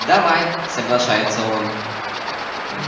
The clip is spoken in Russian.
давай соглашается он